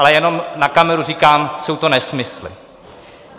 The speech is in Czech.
Ale jenom na kameru říkám: jsou to nesmysly.